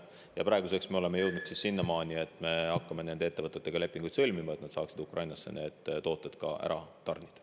Ja praeguseks me oleme jõudnud sinnamaani, et me hakkame ettevõtetega lepinguid sõlmima, et nad saaksid need tooted Ukrainasse tarnida.